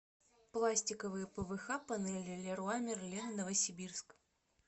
пластиковые пвх панели леруа мерлен новосибирск